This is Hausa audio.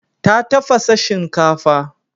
Ta tafasa shinkafa.